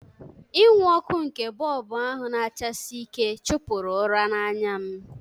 Inwu ọkụ nke bọlbụ ahụ na-achasi ike chụpụrụ ụra n'anya m